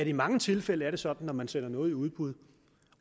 i mange tilfælde er sådan når man sender noget i udbud